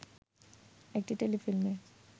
একটি টেলিফিল্মে